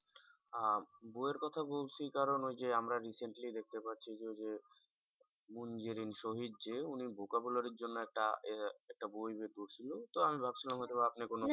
আহ বইয়ের কথা বলছি কারণ ওই যে আমরা recently দেখতে পাচ্ছি যে ওই যে যে উনি vocabulary র জন্য একটা আহ একটা বই বের করছিলো তো ভাবছিলাম হয়তো বা আপনি কোনো